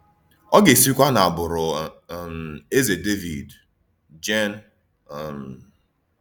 Ọ̀ gà-èsíkwa n’ágbụrụ um Ézè Dévìd. — Jèn. um